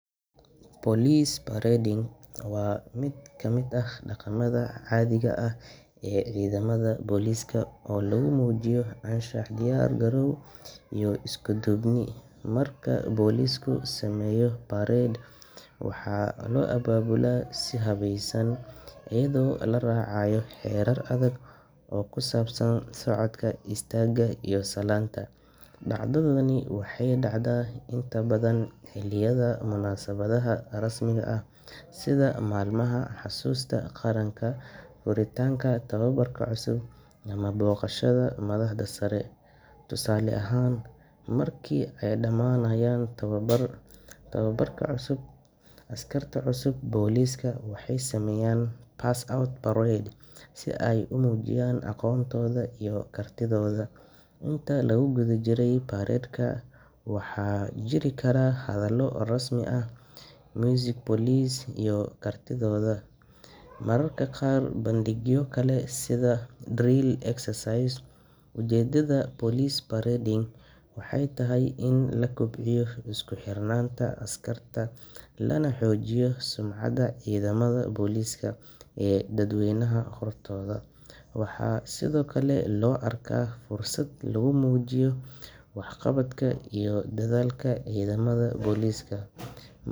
Police parading waa mid ka mid ah dhaqamada caadiga ah ee ciidamada booliiska oo lagu muujiyo anshax, diyaar-garow, iyo isku-duubni. Marka booliisku sameeyo parade, waxaa loo abaabulaa si habaysan, iyadoo la raacayo xeerar adag oo ku saabsan socodka, istaagga, iyo salaanta. Dhacdadani waxay dhacdaa inta badan xilliyada munaasabadaha rasmiga ah sida maalmaha xusuusta qaranka, furitaanka tababarka cusub, ama booqashada madaxda sare. Tusaale ahaan, marka ay dhammaanayaan tababarka, askarta cusub ee booliiska waxay sameeyaan pass-out parade si ay u muujiyaan aqoontooda iyo kartidooda. Intii lagu guda jiray parade-ka, waxaa jiri kara hadallo rasmi ah, muusig booliis, iyo mararka qaar bandhigyo kale sida drill exercise. Ujeedada police parading waxay tahay in la kobciyo isku xirnaanta askarta, lana xoojiyo sumcadda ciidamada booliiska ee dadweynaha hortooda. Waxaa sidoo kale loo arkaa fursad lagu muujiyo waxqabadka iyo dadaalka ciidamada booliiska.